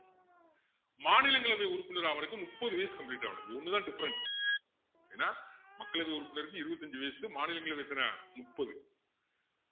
மாநிலங்களவை உறுப்பினர் ஆகுறதுக்கு முப்பது வயசு complete ஆகணும் இது ஒண்ணுதான் different ஏன்னா மக்களவை உறுப்பினருக்கு இருபத்தி அஞ்சு வயசு மாநிலங்களவைக்கு எத்தனை முப்பது